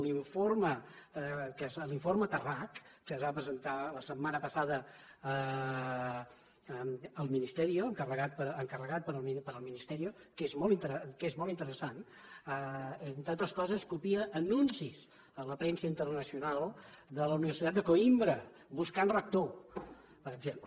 l’informe tarrach que es va presentar la setmana passada al ministerioencarregat pel ministerio que és molt interessant entre altres coses copia anuncis a la premsa internacional de la universitat de coimbra buscant rector per exemple